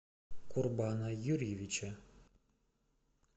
курбана юрьевича